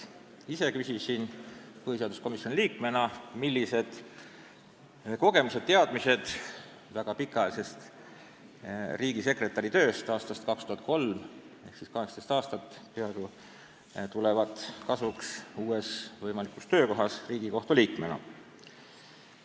Ise küsisin põhiseaduskomisjoni liikmena, millised kogemused-teadmised väga pikaajalisest riigisekretäri tööst, mis algas aastal 2003 ja on kestnud seega peaaegu 16 aastat, tulevad kasuks tema uues võimalikus töös Riigikohtu liikmena.